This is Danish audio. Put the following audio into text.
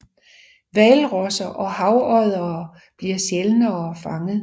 Hvalrosser og havoddere bliver sjældnere fanget